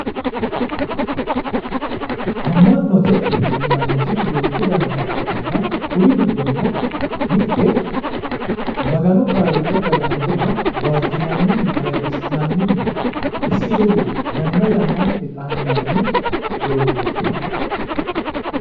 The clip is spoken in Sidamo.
Ama'note yinnanniti duucbu dannita ikkittanna kuri giddonino mite Magano kaaliiqa kalanqoha waajjinanninna ayirrisi'nanninna isi ledo yanna yannanteni xaandanni doogoti